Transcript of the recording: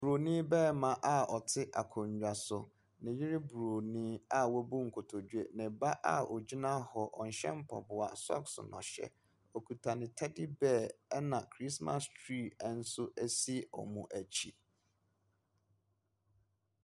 Bronin barima a ɔte akonnwa so, ne yere bronin a wabu nkotodwe, ne ba aogyina hɔ, ɔnhyɛ mpaboa na socks na ɔhyɛ, okita ne teddy bear na Christmas tree nso si wɔn akyi.